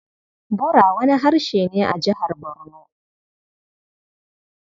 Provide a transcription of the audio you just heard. Bura wani harshe ne a Jihar Barno.